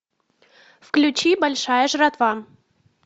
включи большая жратва